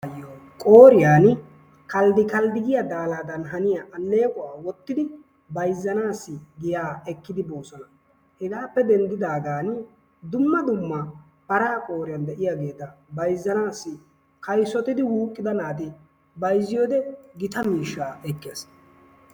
Qooriyan kalddi kalddi giya daalaadan haniya alleequwa wottidi bayzzanaassi giyaa ekkidi boosona. Hegaappe denddidaagaani dumma dumma paraa qooriyan de'iyageeta bayzzanaassi kaysotidi wuuqqida naati bayzziyode gita miishshaa ekkees.